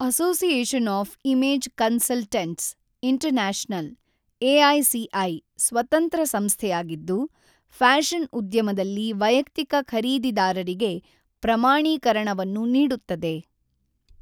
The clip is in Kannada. Association of image consultants international (AICI) ಸ್ವತಂತ್ರ ಸಂಸ್ಥೆಯಾಗಿದ್ದು, ಫ್ಯಾಷನ್ ಉದ್ಯಮದಲ್ಲಿ ವೈಯಕ್ತಿಕ ಖರೀದಿದಾರರಿಗೆ ಪ್ರಮಾಣೀಕರಣವನ್ನು ನೀಡುತ್ತದೆ.